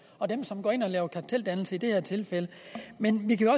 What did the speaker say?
og dem som går ind og laver karteldannelse i det her tilfælde men vi kan